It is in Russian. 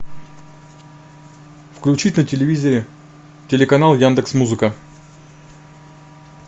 включить на телевизоре телеканал яндекс музыка